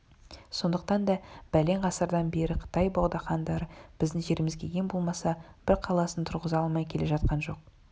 сондықтан да бәлен ғасырдан бері қытай богдахандары біздің жерімізге ең болмаса бір қаласын тұрғыза алмай келе жатқан жоқ